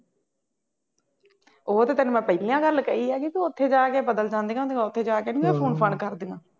ਉਹ ਤਾਂ ਤੈਨੂੰ ਮੈਂ ਪਹਿਲਾਂ ਗੱਲ ਕਹੀ ਆ, ਉੱਥੇ ਜਾ ਕੇ ਬਦਲ ਜਾਂਦੀਆਂ ਹੁੰਦੀਆਂ, ਉੱਥੇ ਜਾ ਕੇ ਨਹੀਂ ਉਹ ਫੋਨ ਫਾਨ ਕਰਦੀਆਂ